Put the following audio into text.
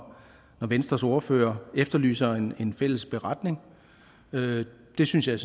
venstres ordfører efterlyser en fælles beretning det synes jeg